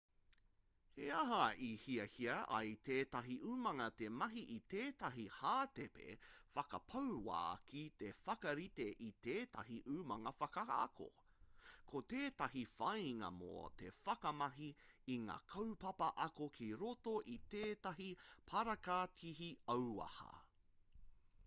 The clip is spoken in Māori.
he aha i hiahia ai tētahi umanga te mahi i tētahi hātepe whakapau wā ki te whakarite i tētahi umanga whakaako ko tētahi whāinga mō te whakamahi i ngā kaupapa ako ki roto i tētahi parakatihi auaha